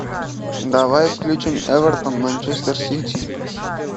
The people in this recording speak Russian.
давай включим эвертон манчестер сити